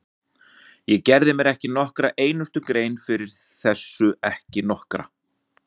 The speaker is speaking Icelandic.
Ég gerði mér ekki nokkra einustu grein fyrir þessu, ekki nokkra!